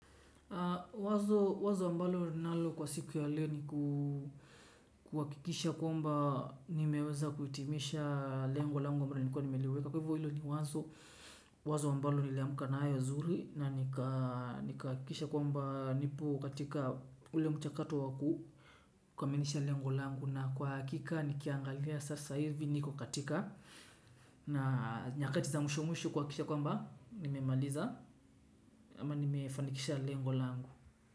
Wazo ambalo ninalo kwa siku ya leo ni kuhakikisha kwamba nimeweza kutimisha lengo langu ambalo nilikuwa nimeliweka. Kwa hivyo hilo ni wazo wazo ambalo niliamka nayo zuri na kuhakikisha kwamba nipo katika ule mchakato wa kukamilisha lengo langu na kwa hakika nikiangalia sasa ivi niko katika nyakati za mwisho mwisho kuhakikisha kwamba nimemaliza ama nimefanikisha lengo langu.